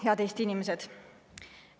Head Eesti inimesed!